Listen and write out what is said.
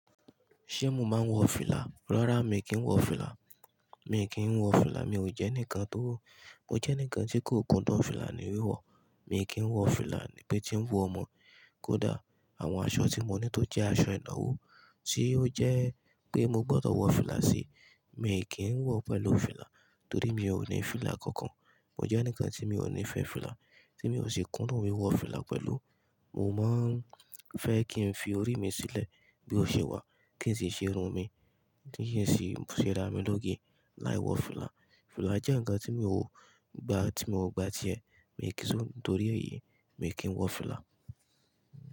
Se mo máa n wo fìlà? Rara mi ki n wọ fìlà mi kì n wọ fìlà, mi ò jẹ́ ènikàn tó, mo jẹ́ ènikàn tí kò kúndùn fìlà ní wíwọ̀. Mi kì í wọ fìlà níbí tí ń wù ọmọ. Kódà àwọn aṣọ tí mo ní tó jẹ́ aṣọ ìnáwó tí ó jẹ́ pé mo gbọdọ̀ wọ fìlà sí, mi kì í wọ pẹ̀lú fìlà torí mi ò ní fìlà kankan. Mo jẹ́ nǹkan tí mi ò nífẹ́ fìlà, tí mi ò sì kún dùn wiwọ fìlà pẹ̀lú. Mo máa ń fẹ́ kí n fi orí mi sílẹ̀ bí ó ṣe wà kí n sì ṣe irun mi, kí n sì ṣẹ́ rá mi lóge láì wọ fìlà. Fìlà jẹ́ ǹkan tí mi ò gbà tí mo gba ti ẹ, mi kì í sọ̀, nítorí èyí mi kì í wọ fìlà.